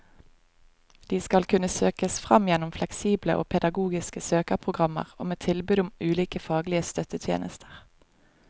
De skal kunne søkes fram gjennom fleksible og pedagogiske søkeprogrammer og med tilbud om ulike faglige støttetjenester.